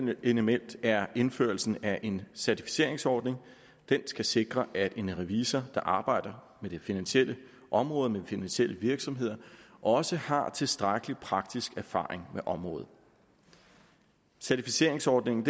element er indførelsen af en certificeringsordning den skal sikre at en revisor der arbejder med det finansielle område med finansielle virksomheder også har tilstrækkelig praktisk erfaring med området certificeringsordningen